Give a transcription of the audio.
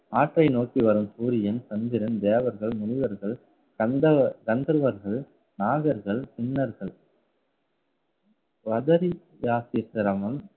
ஆற்றை நோக்கி வரும் சூரியன், சந்திரன், தேவர்கள், முனிவர்கள், கந்தவ~ கந்தர்வர்கள், நாகர்கள் சின்னர்கள் சித்திரமும்